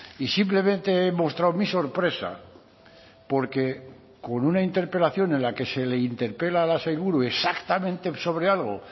y simplemente he mostrado mi sorpresa porque con una interpelación en la que se le interpela a la sailburu exactamente sobre algo